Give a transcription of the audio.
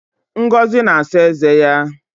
Ngozi na-asa eze ya